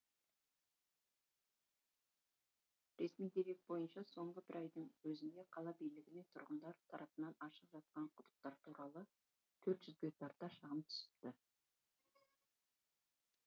ресми дерек бойынша соңғы бір айдың өзінде қала билігіне тұрғындар тарапынан ашық жатқан құдықтар туралы төрт жүзге тарта шағым түсіпті